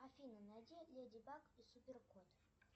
афина найди леди баг и супер кот